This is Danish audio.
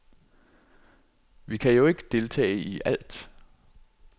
Vi kan jo ikke deltage i alt.